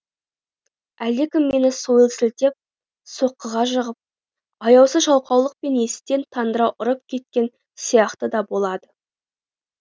әлдекім мені сойыл сілтеп соққыға жығып аяусыз жаулықпен естен тандыра ұрып кеткен сияқты да болады